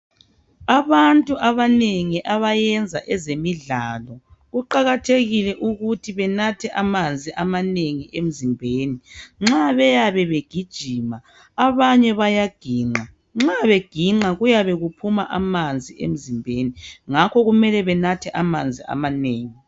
Abantu abanengi abayenza ezemidlalo kuqakathekile ukuthi benathe amanzi amanengi emzimbeni nxa beyabe begijima abanye bayaginqa nxa beginqa kuyabe kuphuma amanzi emzimbeni ngakho kumele benathe amanzi amanengi.